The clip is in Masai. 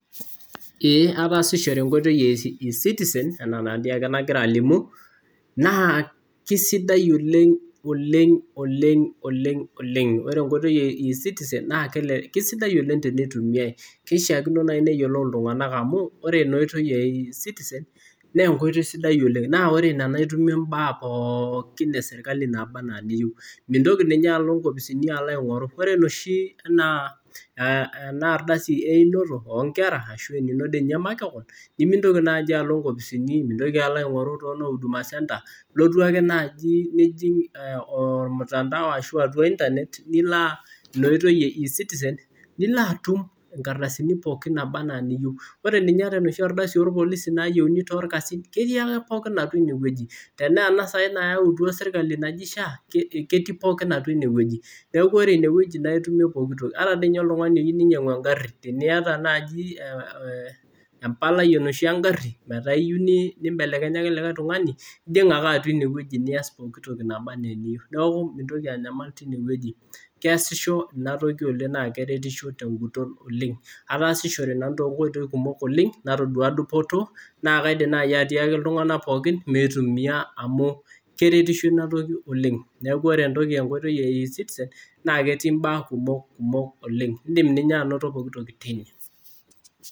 Eee ataasishore enkoitoi e eCitizen enaa enadii ake nagira alimu naa kisidai oleng oleng oleng oleng oleng. Ore enkoitoi e eCitizen naa kisidai oleng tenitumiae. Kishiakino naai neyiolou iltung'anak amu ore ena oitoi e eCitizen naa enkoitoi sidai oleng. Naa ore ina naa itumie imbaak pookin e serikali naaba enaa eniyieu. Mintoki ninye alo inkopisini aing'oru, ore enoshi enaa enaardasi einoto oo nkera ashu enino dii ninye makeon, nemintoki naaji alo nkopisini, mintoki alo aing'oru too noo huduma centre. Ilotu ake naaji nijing ormutandao asho atwa internet nilo ina oitoi e eCitizen nilaatum nkardasini pookin naaba enaa eniyieu. Ore ninye enaa enoshi ardasi oo sikarini nayieuni toorkasin, ketii ake pookin atwa inewueji. Tenaa ena saai nayautwa serikali naji SHA ketii pookin atwa inewueji. Neeku ore inewueji naitumie pookitoki. Ata dii ninye oltung'ani oyieu ninyang'u engarri. Teniata naai empalai enoshi engarri metaa iyieu nimbelekenyaki likae tung'ani, ijing ake atwa ine nias pooki toki naba enaa eniyieu. Neeku mintoki anyamal tinewueji. Keesisho ina toki oleng naa keretisho tenguton oleng. Ataasishore nanu toonkoitoi kumok natodua dupoto naa kaidim naai atiaki iltung'anak pookin meitumia amu keretisho ina toki oleng. Neeku ore entoki enkoitoi e eCitizen naa ketii imbaak kumok kumok oleng. Iindim ninye anoto pooki toki teine